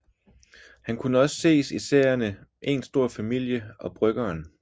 Han kunne også ses i serierne Een stor familie og Bryggeren